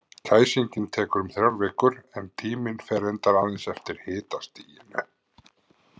Kæsingin tekur um þrjár vikur, en tíminn fer reyndar aðeins eftir hitastiginu.